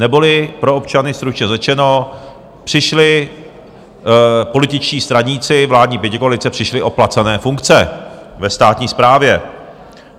Neboli pro občany stručně řečeno, přišli političtí straníci vládní pětikoalice, přišli o placené funkce ve státní správě.